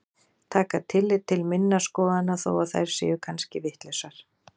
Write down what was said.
Taka tillit til minna skoðana þó að þær séu kannski vitlausar.